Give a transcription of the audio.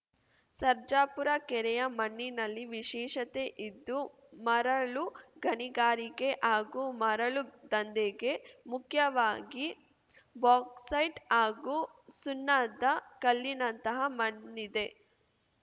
ಸರ್ಜಾಪುರ ಕೆರೆಯ ಮಣ್ಣಿನಲ್ಲಿ ವಿಶೇಷತೆ ಇದ್ದು ಮರಳು ಗಣಿಗಾರಿಕೆ ಹಾಗೂ ಮರಳು ದಂಧೆಗೆ ಮುಖ್ಯವಾಗಿ ಬಾಕ್ಸೈಟ್‌ ಹಾಗೂ ಸುಣ್ಣದ ಕಲ್ಲಿನಂತಹ ಮಣ್ಣಿದೆ